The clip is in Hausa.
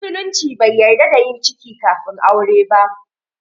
Musulunci bai yarda da yin ciki kafin aure ba